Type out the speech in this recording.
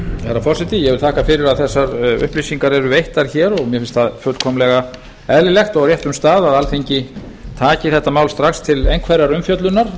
herra forseti ég vil þakka fyrir að þessar upplýsingar eru veittar hér og mér finnst það fullkomlega eðlilegt og á réttum stað að alþingi taki þetta mál strax til einhverrar umfjöllunar